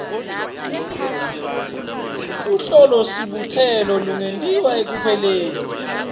luhlolosibutselo lungentiwa ekupheleni